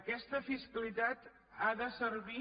aquesta fiscalitat ha de servir